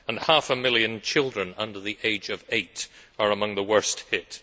and half a million children under the age of eight are among the worst hit.